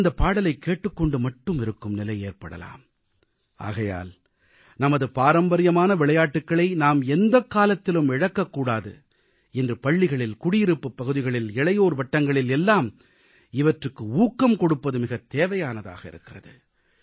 நாம் இந்தப் பாடலைக் கேட்டுக் கொண்டு மட்டுமே இருக்கும் நிலை ஏற்படலாம் ஆகையால் நமது பாரம்பரியமான விளையாட்டுகளை நாம் எந்தக்காலத்திலும் இழக்கக்கூடாது இன்று பள்ளிகளில் குடியிருப்புப் பகுதிகளில் இளையோர் வட்டங்களில் எல்லாம் இவற்றுக்கு ஊக்கம் கொடுப்பது மிகத் தேவையானதாக இருக்கிறது